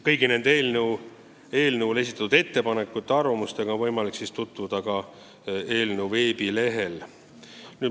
Kõigi nende eelnõu kohta esitatud ettepanekute ja arvamustega on võimalik tutvuda eelnõu veebilehel.